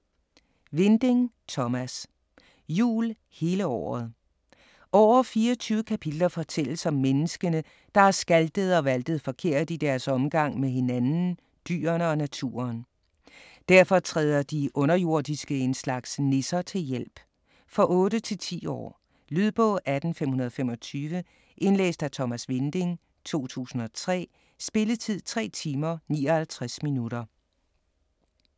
Winding, Thomas: Jul hele året Over 24 kapitler fortælles om menneskene, der har skaltet og valtet forkert i deres omgang med hinanden, dyrene og naturen. Derfor træder de underjordiske - en slags nisser - til hjælp. For 8-10 år. Lydbog 18525 Indlæst af Thomas Winding, 2003. Spilletid: 3 timer, 59 minutter.